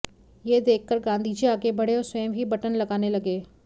यह देखकर गांधीजी आगे बढ़े और स्वयं ही बटन लगाने लगे